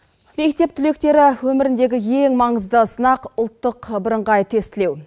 мектеп түлектері өміріндегі ең маңызды сынақ ұлттық бірыңғай тестілеу